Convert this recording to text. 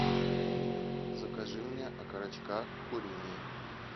закажи мне окорочка куриные